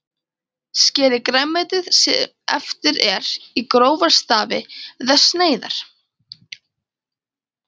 Skerið grænmetið, sem eftir er, í grófa stafi eða sneiðar.